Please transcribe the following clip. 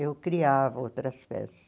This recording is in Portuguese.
Eu criava outras peças.